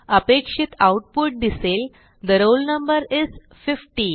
अपेक्षित आऊटपुट दिसेल the roll number is 50